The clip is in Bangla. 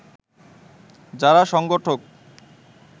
যারা সংগঠক